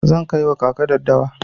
Zan kai wa kaka daddawa.